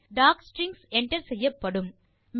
docstrings enter செய்யப்படும்